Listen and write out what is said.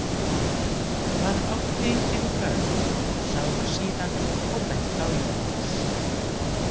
Hann átti engin börn, sagði hún síðan og benti á Jónas.